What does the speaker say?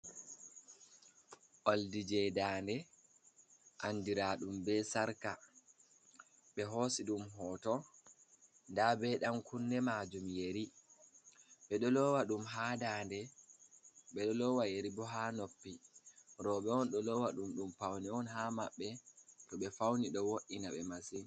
Oldi je dande andira ɗum be sarka, ɓe hosi ɗum hoto nda be dan kunne majum yeri ɓeɗo lowa ɗum ha dade ɓe ɗo lowa yeri bo ha noppi roɓɓe on ɗo lowa ɗum, ɗum paune on ha mabɓe to ɓe fauni ɗo wo’’ina ɓe massin.